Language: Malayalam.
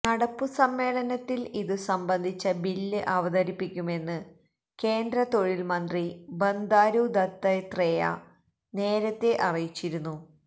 നടപ്പു സമ്മേളനത്തില് ഇതു സംബന്ധിച്ച ബില്ല് അവതതരിപ്പിക്കുമെന്ന് കേന്ദ്ര തൊഴില് മന്ത്രി ബന്ദാരു ദത്താത്രേയ നേരത്തെ അറിയിച്ചിരുന്നു